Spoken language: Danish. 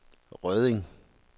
Rødding